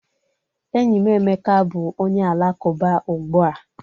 Enyi m Emeka bụ onye Alakụba ugbua